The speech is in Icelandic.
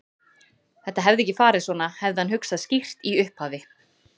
Þetta hefði ekki farið svona, hefði hann hugsað skýrt í upphafi.